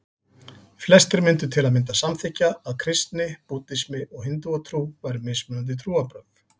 Flestir myndu til að mynda samþykkja að kristni, búddismi og hindúatrú væru mismunandi trúarbrögð.